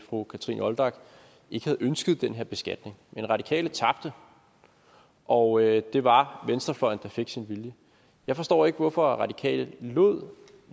fru kathrine olldag ikke havde ønsket den her beskatning men radikale tabte og det var venstrefløjen der fik sin vilje jeg forstår ikke hvorfor radikale lod